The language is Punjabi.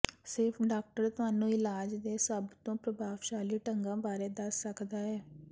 ਸਿਰਫ਼ ਡਾਕਟਰ ਤੁਹਾਨੂੰ ਇਲਾਜ ਦੇ ਸਭ ਤੋਂ ਪ੍ਰਭਾਵਸ਼ਾਲੀ ਢੰਗਾਂ ਬਾਰੇ ਦੱਸ ਸਕਦਾ ਹੈ